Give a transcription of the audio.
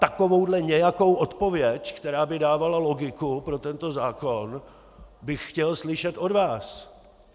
Takovou nějakou odpověď, která by dávala logiku pro tento zákon, bych chtěl slyšet od vás.